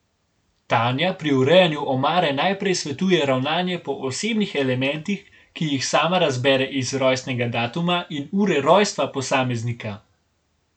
Tanja pri urejanju omare najprej svetuje ravnanje po osebnih elementih, ki jih sama razbere iz rojstnega datuma in ure rojstva posameznika.